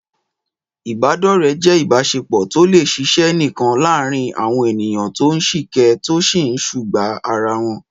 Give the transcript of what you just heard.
Ìbádọ́rẹ̀ẹ́ jẹ́ ìbáṣepọ̀ tó lè ṣiṣẹ́ nìkan láàárín àwọn ènìyàn tó ń sìkẹ́, tó sì ń sùgbàá ara wọn.